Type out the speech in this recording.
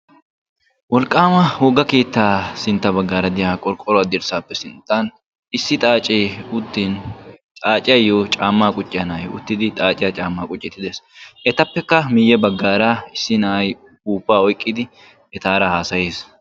Wolqqaama wogga keettaa sintta baggaara diya qorqqoruwa dirssaappe sinttan issi xaacee uttin xaaciyayyo caammaa qucciya na'ayi uttidi xaaciya caammaa qucciiddi de'es. Etappekka miyye baggaara issi na'ayi ufuuppaa oyqqidi etaara haasayes.